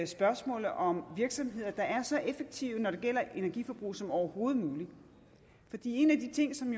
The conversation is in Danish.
spørgsmålet om virksomheder der er så effektive når det gælder energiforbrug som overhovedet muligt en af de ting som